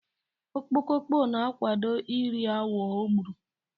Okpoko na-akwado ị ri awọ o gburu.